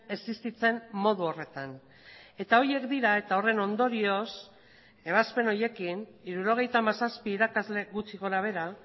existitzen modu horretan eta horiek dira eta horren ondorioz ebazpen horiekin hirurogeita hamazazpi irakasle gutxi gora behera